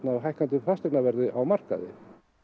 hækkandi fasteignaverði á markaði